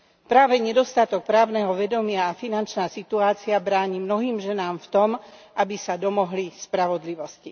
Práve nedostatok právneho vedomia a finančná situácia bráni mnohým ženám v tom, aby sa domohli spravodlivosti.